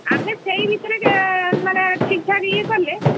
ଆମେ ସେଇ ଭିତରେ ଆମେ ଠିକ୍ ଠାକ୍ ଇଏ କଲେ,